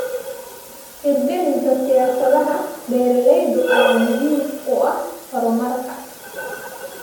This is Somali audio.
Hirgelinta siyaasadaha beeralayda ayaa muhiim u ah horumarka.